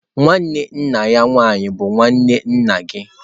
Nwanne nna ya nwaanyị bụ nwanne nna gị.